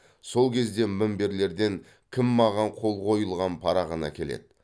сол кезде мінберлерден кім маған қол қойылған парағын әкеледі